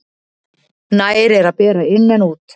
Nær er að bera inn en út.